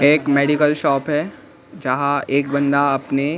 एक medical shop है जहां एक बंदा अपने--